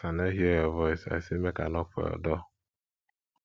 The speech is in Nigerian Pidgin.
as i no hear your your voice i say make i knock for your door